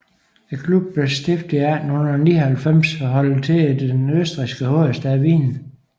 Klubben blev stiftet i 1899 og holder til i den østrigske hovedstad Wien